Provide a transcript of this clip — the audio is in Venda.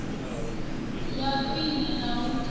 ya khwine na u tinya